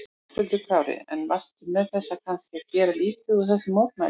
Höskuldur Kári: En varstu með þessu kannski að gera lítið úr þessum mótmælum?